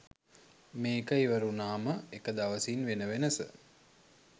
මේක ඉවර වුනාම එක දවසින් වෙන වෙනස